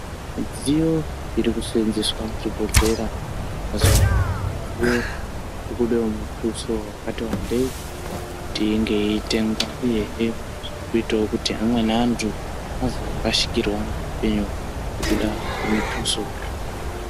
Midziyo irikuseenzeswa muzvibhohlera mazuva anaya midziyo irikudiwa mutuso wakati wandei kuti inge yeitengwa. Uyehe zvirikuitawo kuti amweni antu azorasikirwa ngeupenyu hwavo ngekuda kwemituso.